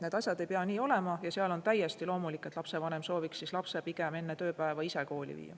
Need asjad ei pea nii olema ja seal on täiesti loomulik, et lapsevanem sooviks lapse pigem enne tööpäeva ise kooli viia.